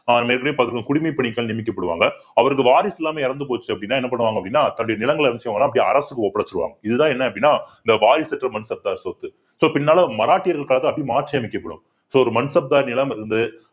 அஹ் நம்ம ஏற்கனவே பார்த்திருக்கோம் குடிமைப்பணிகள் நியமிக்கப்படுவாங்க அவருக்கு வாரிசு இல்லாம இறந்து போச்சு அப்படின்னா என்ன பண்ணுவாங்க அப்படின்னா தன்னுடைய நிலங்களை அரசுக்கு ஒப்படைச்சிடுவாங்க இதுதான் என்ன அப்படின்னா இந்த வாரிசு அற்ற மன்சப்தார் சொத்து so பின்னால மராட்டியர்களுக்காக அப்படியே மாற்றி அமைக்கப்படும் so ஒரு